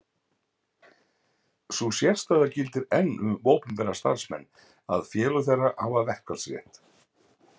Sú sérstaða gildir enn um opinbera starfsmenn að félög þeirra hafa verkfallsrétt.